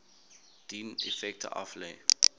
dien effekte aflê